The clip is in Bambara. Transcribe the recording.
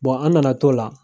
an nana t'o la